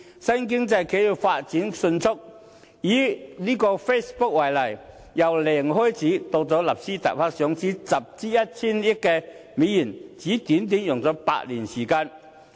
新經濟企業發展迅速，以 Facebook 為例，由零開始到在納斯達克上市集資 1,000 億美元，只是用了短短8年時間。